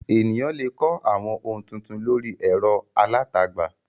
Ènìyàn le kọ́ àwọn ohun tuntun lórí ẹ̀rọ alátagbà.